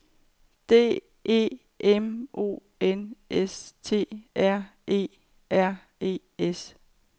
D E M O N S T R E R E S